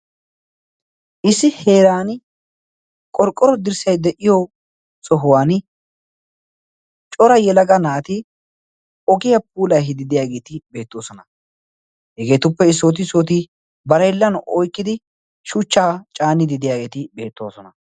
issi heeran qorqqoro dirssai de7iyo sohuwan cora yelaga naati ogiyaa puulai hidideyaageeti beettoosona. hegeetuppe issooti issooti barailan oikkidi shuchchaa caanidi deyaageeti beettoosona.